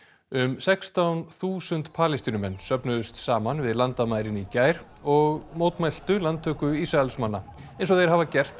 um sextán þúsund Palestínumenn söfnuðust saman við landamærin í gær og mótmæltu landtöku Ísraelsmanna eins og þeir hafa gert á